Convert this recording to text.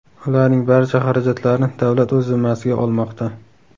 Ularning barcha xarajatlarini davlat o‘z zimmasiga olmoqda.